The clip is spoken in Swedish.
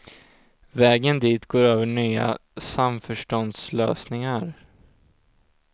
Vägen dit går över nya samförståndslösningar.